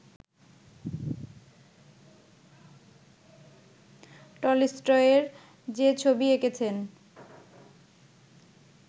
টলস্টয়ের যে ছবি এঁকেছেন